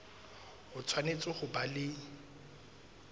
o tshwanetse ho ba le